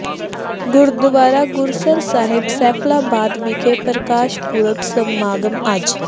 ਗੁਰਦੁਆਰਾ ਗੁਰਸਰ ਸਾਹਿਬ ਸੈਫਲਾਬਾਦ ਵਿਖੇ ਪ੍ਰਕਾਸ਼ ਪੁਰਬ ਸਮਾਗਮ ਅੱਜ